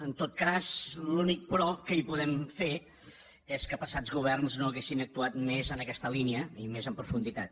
en tot cas l’únic però que hi podem fer és que passats governs no haguessin actuat més en aquesta línia i més en profunditat